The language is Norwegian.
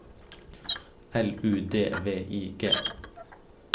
L U D V I G